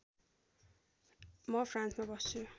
म फ्रान्समा बस्छु